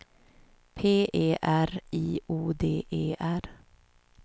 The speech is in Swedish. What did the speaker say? P E R I O D E R